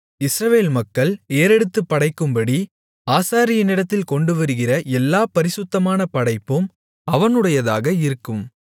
இஸ்ரவேல் மக்கள் ஏறெடுத்துப் படைக்கும்படி ஆசாரியனிடத்தில் கொண்டுவருகிற எல்லாப் பரிசுத்தமான படைப்பும் அவனுடையதாக இருக்கும்